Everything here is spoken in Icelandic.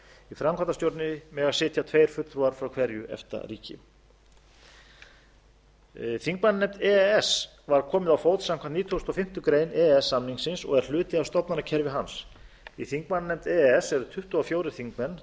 framkvæmdastjórn mega sitja tveir fulltrúar frá hverju efta ríki þingmannanefnd e e s var komið á fót samkvæmt nítugasta og fimmtu grein e e s samningsins og er hluti af stofnanakerfi hans í þingmannanefnd e e s eru tuttugu og fjórir þingmenn